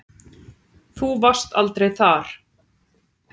Þú varst aldrei þar.